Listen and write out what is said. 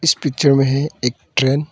इस पिक्चर में है एक ट्रेन ।